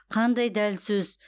қандай дәл сөз